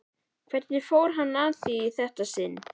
Hvernig fór hann að í þetta sinn?